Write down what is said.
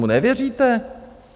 Tomu nevěříte?